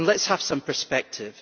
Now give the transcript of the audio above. Let us have some perspective.